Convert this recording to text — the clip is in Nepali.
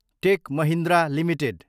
take Mahindra Ltd